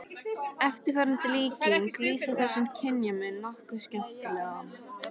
Eftirfarandi líking lýsir þessum kynjamun nokkuð skemmtilega